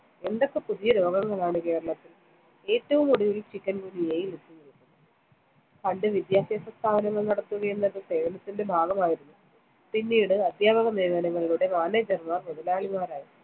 എന്തൊക്കെ പുതിയ രോഗങ്ങളാണു കേരളത്തിൽ? ഏറ്റവും ഒടുവിൽ ചിക്കൻ ഗുനിയയിൽ എത്തി. പണ്ട്‌ വിദ്യാഭ്യാസ സ്ഥാപനങ്ങൾ നടത്തുകയെന്നത്‌ സേവനത്തിന്റെ ഭാഗമായിരുന്നു. പിന്നീട്‌, അധ്യാപക നിയമനങ്ങളിലൂടെ manager മാർ മുതലാളിമാരായി.